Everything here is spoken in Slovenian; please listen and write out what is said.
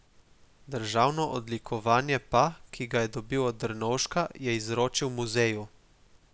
Državno odlikovanje pa, ki ga je dobil od Drnovška, je izročil muzeju.